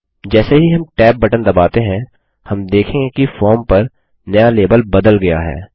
जैसे ही हम tab बटन दबाते हैं हम देखेंगे कि फॉर्म पर नया लेबल बदल गया है